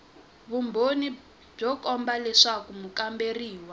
vumbhoni byo komba leswaku mukamberiwa